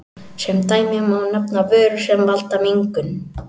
Sem dæmi má nefna vörur sem valda mengun.